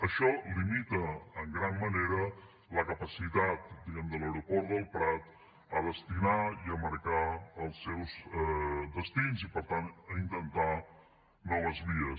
això limita en gran manera la capacitat diguem ne de l’aeroport del prat de destinar i marcar els seus destins i per tant d’intentar noves vies